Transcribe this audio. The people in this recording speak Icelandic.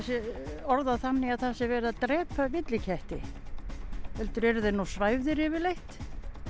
sé orðað þannig að það sé verið að drepa villiketti heldur eru þeir nú svæfðir yfirleitt